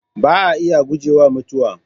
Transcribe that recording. Ba a iya gujewa Mutuwa